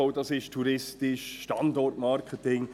Wie wertvoll das touristisch ist, Standortmarketing.